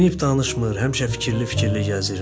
Dinib danışmır, həmişə fikirli-fikirli gəzir.